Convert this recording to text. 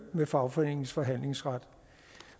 med fagforeningens forhandlingsret